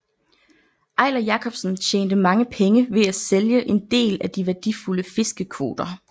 Eiler Jacobsen tjente mange penge ved at sælge en del af de værdifulde fiskekvoter